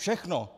Všechno.